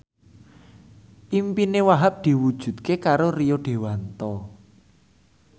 impine Wahhab diwujudke karo Rio Dewanto